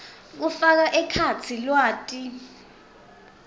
kufaka ekhatsi lwati